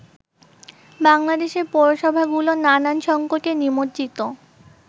বাংলাদেশের পৌরসভাগুলো নানান সংকটে নিমজ্জিত।